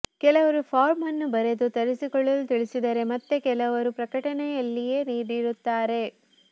ಕೆಲವರು ಫಾರಂ ಅನ್ನು ಬರೆದು ತರಿಸಿಕೊಳ್ಳಲು ತಿಳಿಸಿದರೆ ಮತ್ತೆ ಕೆಲವರು ಪ್ರಕಟಣೆಯಲ್ಲಿಯೇ ನೀಡಿರುತ್ತಾರೆ